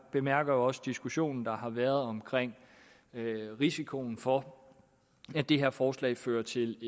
bemærkede også diskussionen der har været om risikoen for at det her forslag fører til